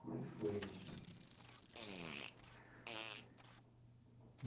Como é que foi isso?